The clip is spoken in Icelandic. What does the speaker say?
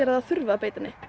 að það þurfi að beita henni